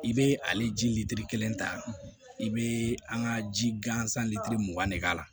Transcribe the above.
I bɛ ale ji litiri kelen ta i bɛ an ka ji gansan litiri mugan de k'a la